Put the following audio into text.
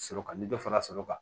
Sɔrɔ kan ni dɔ fara sɔrɔ kan